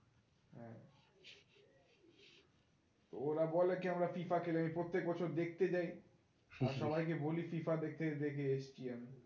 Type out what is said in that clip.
ওরা বলে কি আমরা FIFA খেলি আমি প্রত্যেক বছর দেখতে যাই আর সবাই কে বলি FIFA দেখতে দেখে এসেছি আমি